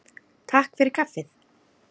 Takk fyrir kaffið.